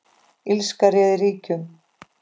Illska réð ríkjum.